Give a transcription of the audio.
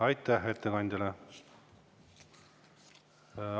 Aitäh ettekandjale!